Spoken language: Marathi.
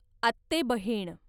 आत्तेबहीण